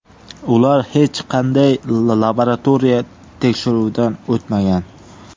Ular hech qanday laboratoriya tekshiruvidan o‘tmagan.